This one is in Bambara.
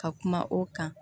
Ka kuma o kan